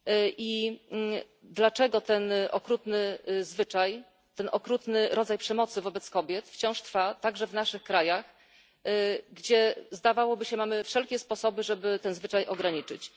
I dlaczego ten okrutny zwyczaj, ten okrutny rodzaj przemocy wobec kobiet wciąż trwa także w naszych krajach, gdzie zdawałoby się mamy wszelkie sposoby, żeby ten zwyczaj ograniczyć?